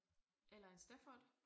Eller en Stafford